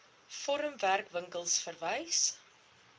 forum werkwinkels verwys